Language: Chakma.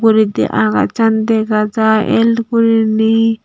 uguredi agachan dega jai el guriney.